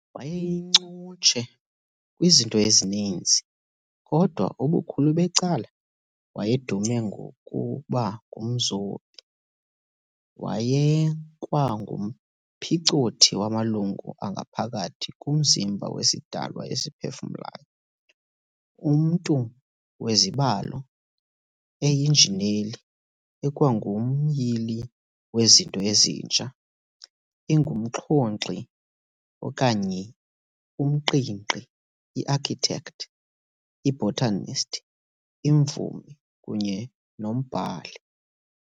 Wayeyincutshe kwizinto ezininzi, kodwa ubukhulu becala wayedume ngokuba ngumzobi. wayekwangumphicothi wamalungu angaphakathi komzimba wesidalwa esiphefumlayo, umntu wezibalo, eyinjineli, ekwangumyili wezinto ezintsha, ingumxhonkxi okanye umqingqi, iarchitect, ibotanist, imvumi kunye nombhali.